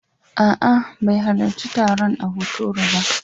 A'a, bai halarci taron a Hotoro ba.